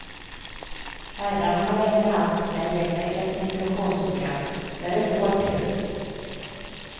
Herrarna har länge haft sina egna identifikationsprogram, nu är det vår tur.